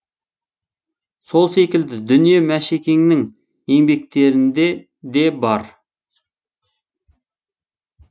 сол секілді дүние мәшекеңнің еңбектерінде де бар